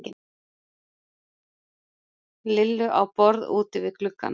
Lillu á borð úti við gluggann.